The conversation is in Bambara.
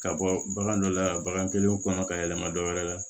Ka bɔ bagan dɔ la bagan kelen kɔnɔ ka yɛlɛma dɔ wɛrɛ la